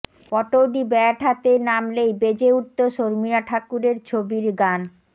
Pataudi bat হাতে নামলেই বেজে উঠত শর্মিলা ঠাকুরের ছবির গান